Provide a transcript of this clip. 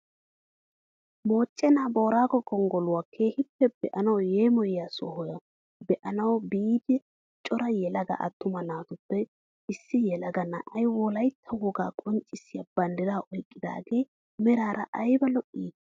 Moochchena boorago gonggoluwaa keehippe be'anawu yeemoyiyaa sohuwaa be'anawu biida cora yelaga attuma naatuppe issi yelaga na'ay wolaytta wogaa qonccisiyaa banddiraa oyqqidagee meraara ayba lo"ii!